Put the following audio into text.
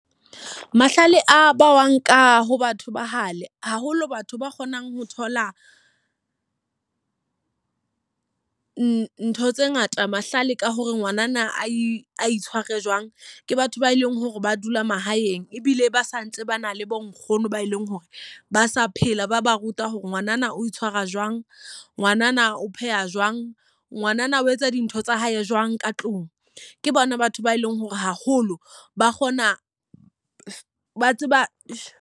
Mahlale a bawang ka ho batho ba hale, haholo batho ba kgonang ho thola ntho tse ngata mahlale ka hore ngwanana a itshware jwang. Ke batho ba eleng hore ba dula mahaeng ebile ba sa ntse ba na le bo nkgono ba eleng hore ba sa phela. Ba ba ruta hore ngwanana o itshwara jwang, ngwanana o pheha jwang, ngwanana o etsa dintho tsa hae jwang ka tlung. Ke bona batho ba eleng hore haholo ba kgona, ba tseba.